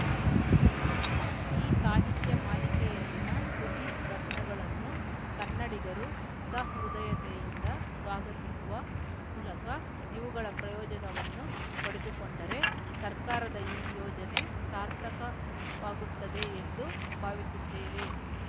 ಈ ಸಾಹಿತ್ಯ ಮಾಲಿಕೆಯಲ್ಲಿನ ಕೃತಿರತ್ನಗಳನ್ನು ಕನ್ನಡಿಗರು ಸಹೃದಯತೆಯಿಂದ ಸ್ವಾಗತಿಸುವ ಮೂಲಕ ಇವುಗಳ ಪ್ರಯೋಜನವನ್ನು ಪಡೆದುಕೊಂಡರೆ ಸರ್ಕಾರದ ಈ ಯೋಜನೆ ಸಾರ್ಥಕವಾಗುತ್ತದೆ ಎಂದು ಭಾವಿಸುತ್ತೇನೆ